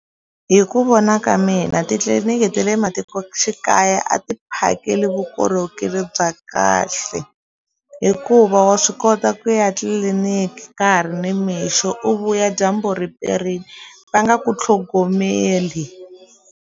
Hi ku vona ka mina titliliniki ta le matikoxikaya a ti phakeli vukorhokeri bya kahle hikuva wa swi kota ku ya tliliniki ka ha ri nimixo u vuya dyambu ri perile va nga ku tlhogomeli.